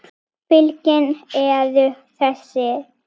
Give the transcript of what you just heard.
Fylkin eru þessi